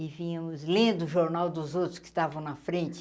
E vínhamos lendo o jornal dos outros que estavam na frente.